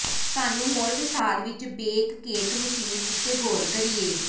ਸਾਨੂੰ ਹੋਰ ਵਿਸਥਾਰ ਵਿੱਚ ਬੇਕ ਕੇਕ ਮਸ਼ੀਨ ਉੱਤੇ ਗੌਰ ਕਰੀਏ